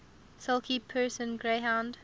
saluki persian greyhound